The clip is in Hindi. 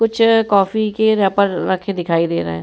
कुछ कॉफी के रेफर रखे दिखाई दे रहे हैं।